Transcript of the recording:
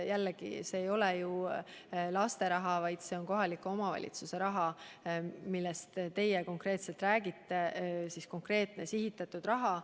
Jällegi, see ei ole ju laste raha, vaid see on kohaliku omavalitsuse raha, millest te räägite, konkreetne sihitatud raha.